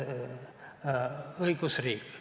Õigusriik.